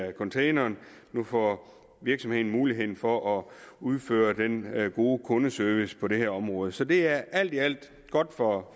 i containeren nu får virksomheden muligheden for at udføre den gode kundeservice på det her område så det er alt i alt godt for